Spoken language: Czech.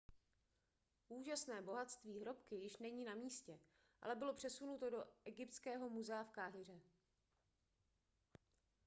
úžasné bohatství hrobky již není na místě ale bylo přesunuto do egyptského muzea v káhiře